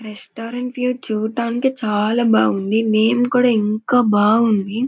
Restaurant చూడటానికి చాలా బాగుంది నేమ్ కూడా ఇంకా బాగుంది.